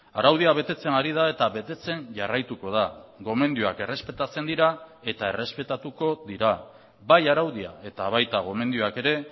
araudia betetzen ari da eta betetzen jarraituko da gomendioak errespetatzen dira eta errespetatuko dira bai araudia eta baita gomendioak ere